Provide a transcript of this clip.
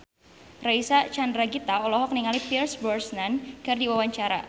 Reysa Chandragitta olohok ningali Pierce Brosnan keur diwawancara